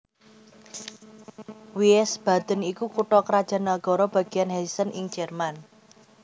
Wiesbaden iku kutha krajan nagara bagian Hessen ing Jerman